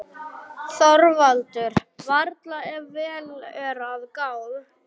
ÞORVALDUR: Varla, ef vel er að gáð.